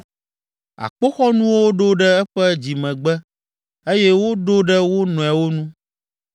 Akpoxɔnuwo ɖo ɖe eƒe dzimegbe eye woɖo ɖe wo nɔewo nu,